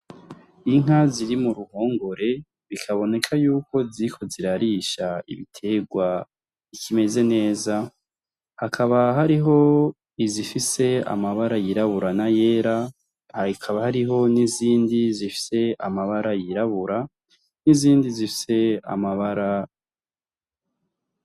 Inka ziri mu ruhongore, bikaboneka yuko ziriko zirarisha ibiterwa bikimeze neza, hakaba hariho izifise amabara yirabura n'ayera , hakaba hariho n'izindi zifise amabara yirabura.